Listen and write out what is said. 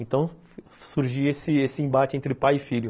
Então, surgia esse esse esse embate entre pai e filho.